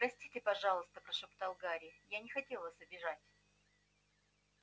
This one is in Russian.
простите пожалуйста прошептал гарри я не хотел вас обижать